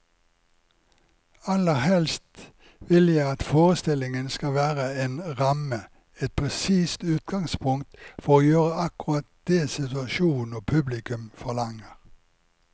Aller helst vil jeg at forestillingen skal være en ramme, et presist utgangspunkt for å gjøre akkurat det situasjonen og publikum forlanger.